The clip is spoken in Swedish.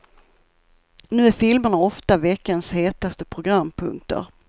Nu är filmerna ofta veckans hetaste programpunkter.